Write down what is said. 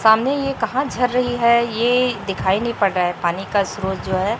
सामने ये कहां झर रही है ये दिखाई नहीं पड़ रहा है पानी का स्रोत जो है।